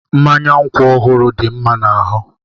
Mmanya nkwụ ọhụrụ dị mma n'ahụ